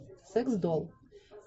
секс долл